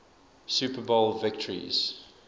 super bowl victories